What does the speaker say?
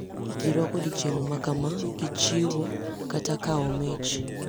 Ji rwako odiechieng` makama gi chiwo kata kawo mich.